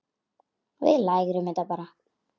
Við lærum þetta bara.